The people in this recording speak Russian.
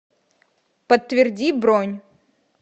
подтверди бронь